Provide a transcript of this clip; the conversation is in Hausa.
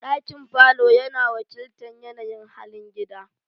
Dakin falo yana wakiltar yanayin halin iyali.